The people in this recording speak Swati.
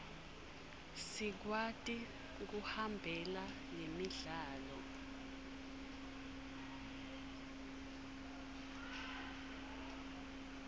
sikwati kuhambela lemidlalo